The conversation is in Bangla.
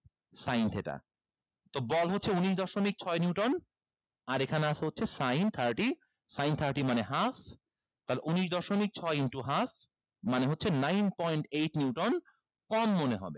sin theta তো বল হচ্ছে উনিশ দশমিক ছয় neuton আর এখানে আছে হচ্ছে sin thirty sin thirty মানে half তাহলে উনিশ দশমিক ছয় into half মানে হচ্ছে nine point eight neuton কম মনে হবে